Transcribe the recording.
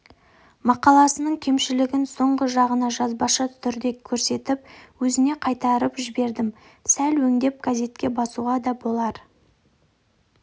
мақаласының кемшілігін соңғы жағына жазбаша түрде көрсетіп өзіне қайтарып жібердім сәл өңдеп газетке басуға да болар